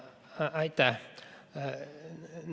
Aitäh!